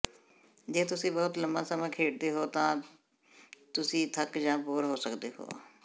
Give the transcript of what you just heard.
ਜੇ ਤੁਸੀਂ ਬਹੁਤ ਲੰਮਾ ਸਮਾਂ ਖੇਡਦੇ ਹੋ ਤਾਂ ਤੁਸੀਂ ਥੱਕ ਜਾਂ ਬੋਰ ਹੋ ਸਕਦੇ ਹੋ